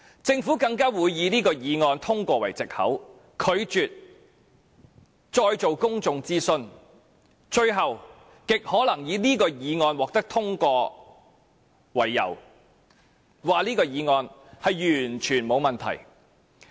政府更會以這項議案已獲得通過為藉口，拒絕再進行公眾諮詢，最後極可能以這項議案獲得通過為由，指議案完全沒有問題。